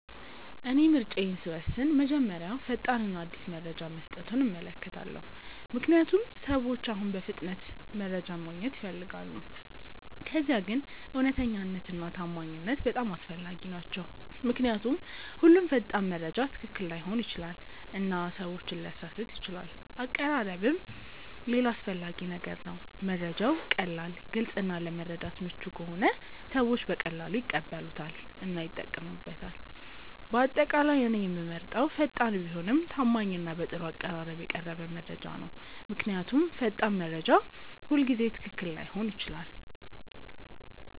እኔ ምርጫዬን ስወስን መጀመሪያ ፈጣን እና አዲስ መረጃ መስጠቱን እመለከታለሁ፣ ምክንያቱም ሰዎች አሁን በፍጥነት መረጃ ማግኘት ይፈልጋሉ። ከዚያ ግን እውነተኛነት እና ታማኝነት በጣም አስፈላጊ ናቸው ምክንያቱም ሁሉም ፈጣን መረጃ ትክክል ላይሆን ይችላል እና ሰዎችን ሊያሳስት ይችላል አቀራረብም ሌላ አስፈላጊ ነገር ነው፤ መረጃው ቀላል፣ ግልጽ እና ለመረዳት ምቹ ከሆነ ሰዎች በቀላሉ ይቀበሉታል እና ይጠቀሙበታል። በአጠቃላይ እኔ የምመርጠው ፈጣን ቢሆንም ታማኝ እና በጥሩ አቀራረብ የቀረበ መረጃ ነው። ምክንያቱም ፈጣን መረጃ ሁልጊዜ ትክክል ላይሆን ይችላል።